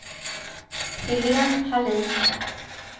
Helén Hallin